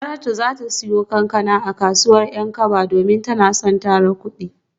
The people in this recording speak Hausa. Saratu za ta siyo kankana a kasuwar Yankaba domin tana son tara kudinta.